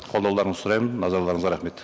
қолдауларыңызды сұраймын назарларыңызға рахмет